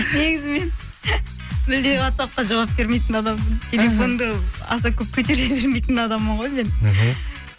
негізі мен мүлдем уатсапқа жауап бермейтін адаммын аса көп көтере бермейтін адаммын ғой мен іхі